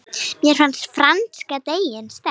Mér finnst franska deildin sterk.